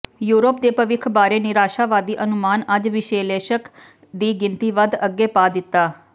Europe ਦੇ ਭਵਿੱਖ ਬਾਰੇ ਨਿਰਾਸ਼ਾਵਾਦੀ ਅਨੁਮਾਨ ਅੱਜ ਵਿਸ਼ਲੇਸ਼ਕ ਦੀ ਗਿਣਤੀ ਵਧ ਅੱਗੇ ਪਾ ਦਿੱਤਾ